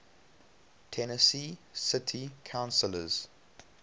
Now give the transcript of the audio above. tennessee city councillors